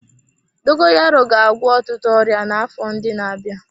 Dogoyaro ga-agwọ ọtụtụ ọrịa n'afọ ndị na-abịa.